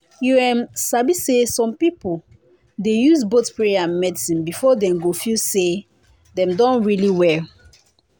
you em sabi say some people dey use both prayer and medicine before dem go feel say dem don really well.